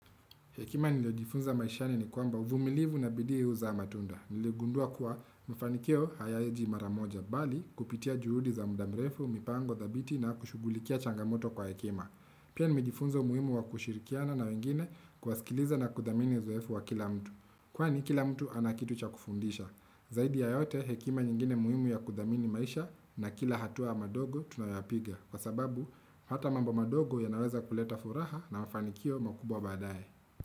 Hekima niliyojifunza maishani ni kwamba uvumilivu na bidii huzaa matunda. Niligundua kuwa mafanikio hayaji mara moja bali kupitia juhudi za muda mrefu, mipango thabiti na kushughulikia changamoto kwa hekima. Pia nimejifunza umuhimu wa kushirikiana na wengine kuwasikiliza na kuthamini uzoefu wa kila mtu. Kwani kila mtu ana kitu cha kufundisha. Zaidi ya yote hekima nyingine muhimu ya kudhamini maisha na kila hatua ndogo tunayopiga. Kwa sababu, hata mambo madogo ya naweza kuleta furaha na mafanikio makubwa badaye.